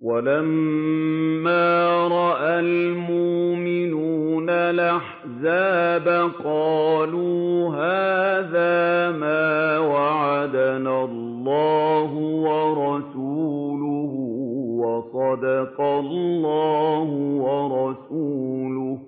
وَلَمَّا رَأَى الْمُؤْمِنُونَ الْأَحْزَابَ قَالُوا هَٰذَا مَا وَعَدَنَا اللَّهُ وَرَسُولُهُ وَصَدَقَ اللَّهُ وَرَسُولُهُ ۚ